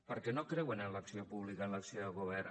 perquè no creuen en l’acció pública en l’acció de govern